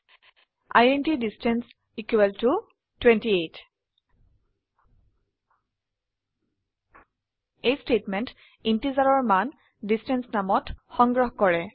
int distance equal to 28 এই statement ইন্টিজাৰৰ মান ডিষ্টেন্স নামত সংগ্ৰহ কৰে